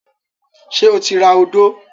Ṣé ó ti ra odó?